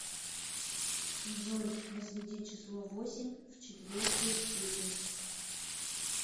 джой возведи число восемь в четвертую степень